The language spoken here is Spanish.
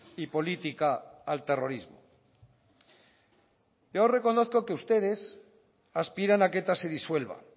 y política al terrorismo yo reconozco que ustedes aspiran a que eta se disuelva